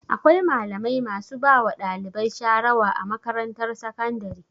Akwai malamai masu bawa ɗalibai sharawa a makatarantar sakandare.